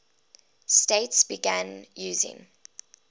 states began using